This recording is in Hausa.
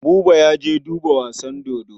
Buba ya je duba wasan dodo.